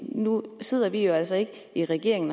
nu sidder vi jo altså ikke i regering